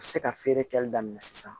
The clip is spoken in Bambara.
A bɛ se ka feere kɛli daminɛ sisan